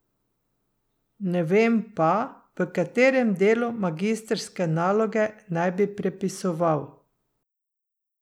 Ne vem pa, v katerem delu magistrske naloge naj bi prepisoval.